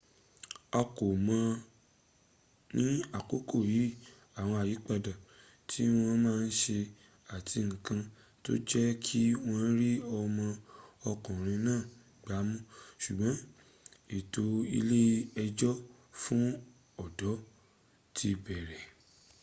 a kò mọ̀ ní àkókò yí àwọn àyípadà tí wọ́n ma ṣe àti nkan tó jẹ́kí wọ́n rí ọmọ okùnrin náà gbámú ṣùgbọ́n ètò ilé ẹjọ́ fún ọ̀dọ́ ti bẹ̀rẹ̀